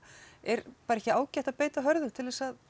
er ekki ágætt bara að beita hörðu til að